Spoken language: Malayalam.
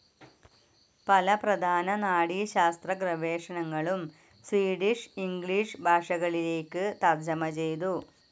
പല പ്രധാന നാഡീശാസ്ത്ര ഗവേഷണങ്ങളും സ്വീഡിഷ്, ഇംഗ്ലിഷ് ഭാഷകളിലേക്ക് തർജ്ജമ ചെയ്തു.